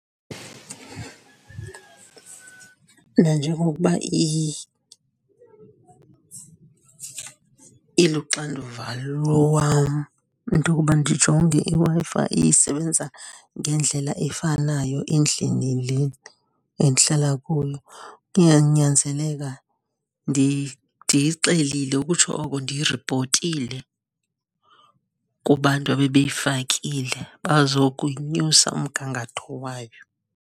Nanjengokuba iluxanduva lwam into okuba ndijonge iWi-Fi isebenza ngendlela efanayo endlini le endihlala kuyo, iyanyanzeleka ndiyixelile, ukutsho oko ndiyi ripotile kubantu ebebeyifakile bazokuyinyusa umgangatho wayo.